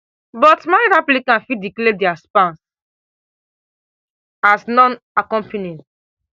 but married applicants fit declare dia spouse as non accompanying